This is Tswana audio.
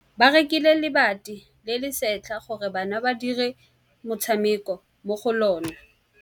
Ba rekile lebati le le setlha gore bana ba dire motshameko mo go lona.